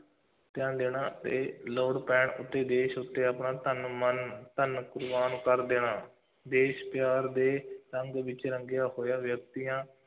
ਧਿਆਨ ਦੇਣਾ ਅਤੇ ਲੋੜ ਪੈਣ ਉੱਤੇ ਦੇਸ਼ ਉੱਤੇ ਆਪਣਾ ਤਨ, ਮਨ, ਧਨ ਕੁਰਬਾਨ ਕਰ ਦੇਣਾ, ਦੇਸ਼ ਪਿਆਰ ਦੇ ਰੰਗ ਵਿੱਚ ਰੰਗਿਆ ਹੋਇਆ ਵਿਅਕਤੀਆਂ,